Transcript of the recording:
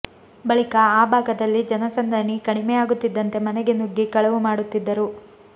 ಬಳಿಕ ಆ ಭಾಗದಲ್ಲಿ ಜನಸಂದಣಿ ಕಡಿಮೆಯಾಗುತ್ತಿದ್ದಂತೆ ಮನೆಗೆ ನುಗ್ಗಿ ಕಳವು ಮಾಡುತ್ತಿದ್ದರು